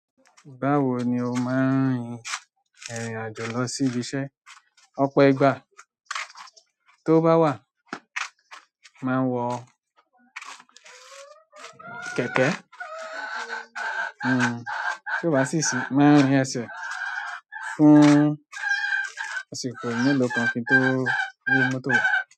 Báwo ni o máa ń rìnrìn àjò lọ sí ibiṣẹ́? Ọ̀pọ̀ ìgbà towó bá wà máa ń wọ kẹ̀kẹ́, tí ó bá sì ṣì mo máa ń rin ẹsẹ̀ fún ọ̀sẹ̀ kan kí n tó gbé mọ́tò wá.